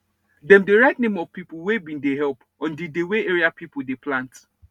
dem dey write name of people wey bin help on di dey wey area people dey plant